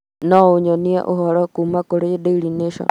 no ũnyonie ũhoro kuuma kũrĩ Daily Nation